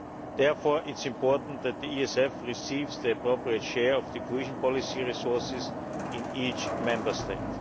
Therefore it is important that the ESF receives the appropriate share of cohesion policy resources in each Member State.